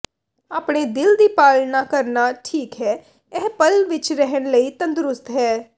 ਆਪਣੇ ਦਿਲ ਦੀ ਪਾਲਣਾ ਕਰਨਾ ਠੀਕ ਹੈ ਇਹ ਪਲ ਵਿੱਚ ਰਹਿਣ ਲਈ ਤੰਦਰੁਸਤ ਹੈ